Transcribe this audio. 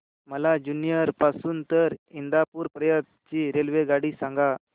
मला जुन्नर पासून तर इंदापूर पर्यंत ची रेल्वेगाडी सांगा